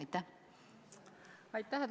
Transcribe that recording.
Aitäh!